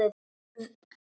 Snúðu við!